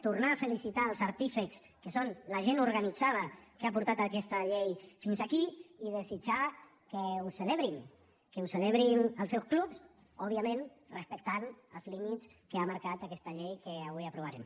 tornar a felicitar els artífexs que són la gent organitzada que ha portat aquesta llei fins aquí i desitjar que ho celebrin que ho celebrin als seus clubs òbviament respectant els límits que ha marcat aquesta llei que avui aprovarem